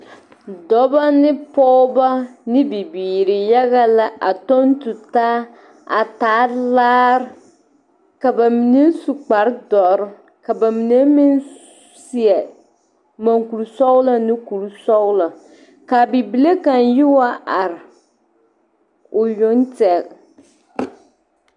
Dɔba ne pogeba ne bibiiri yaga a kyoŋe tu taa a taa laara ka ba mine su kparre doɔre ka ba mine meŋ seɛ maŋkoro sɔgloo ane kɔɔre sɔgloo ka a bibile kaŋ yi wa are o yoŋ tɛŋɛ.